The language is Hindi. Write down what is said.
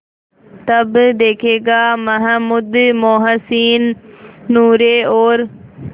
तब देखेगा महमूद मोहसिन नूरे और